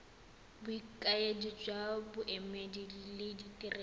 bokaedi jwa boemedi le ditirelo